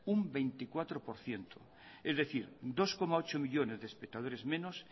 un veinticuatro por ciento es decir dos coma ocho millónes de espectadores menos